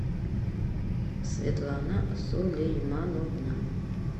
светлана сулеймановна